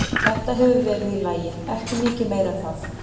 Þetta hefur verið allt í lagi, ekki mikið meira en það.